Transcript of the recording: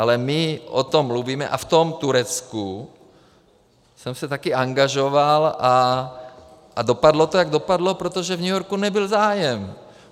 Ale my o tom mluvíme - a v tom Turecku jsem se také angažoval a dopadlo to, jak dopadlo, protože v New Yorku nebyl zájem.